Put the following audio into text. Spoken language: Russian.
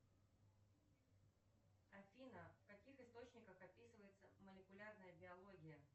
афина в каких источниках описывается молекулярная биология